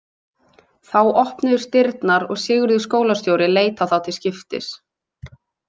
Þá opnuðust dyrnar og Sigurður skólastjóri leit á þá til skiptis.